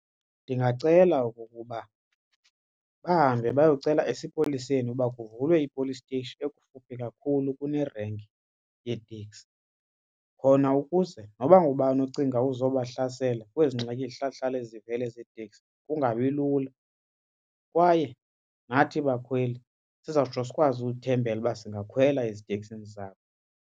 Ndingacela okokuba bahambe bayocela esipoliseni uba kuvulwe i-police station ekufuphi kakhulu kunerenki yeeteksi khona ukuze noba ngubani ocinga ukuzobahlasela kwezi ngxaki zihlale zihlale zivele zeeteksi kungabi lula kwaye nathi bakhweli sizawutsho sikwazi ukuthembela uba singakhwela eziteksini zabo.